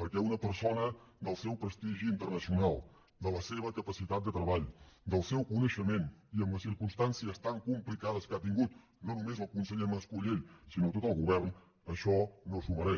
perquè una persona del seu prestigi internacional de la seva capacitat de treball del seu coneixement i amb les circumstàncies tan complicades que ha tingut no només el conseller mas colell sinó tot el govern això no s’ho mereix